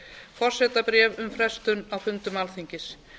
forsetabréf um frestun á fundum alþingis